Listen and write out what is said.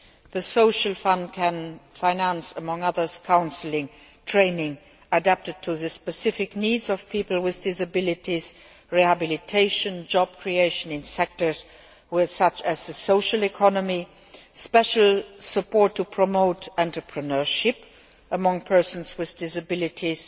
The Social Fund can finance, among other things, counselling, training adapted to the specific needs of people with disabilities, rehabilitation, job creation in sectors such as social economy, special support to promote entrepreneurship among persons with disabilities,